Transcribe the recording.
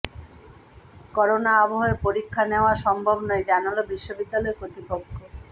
corona আবহে পরীক্ষা নেওয়া সম্ভব নয় জানাল বিশ্ববিদ্যালয় কর্তৃপক্ষ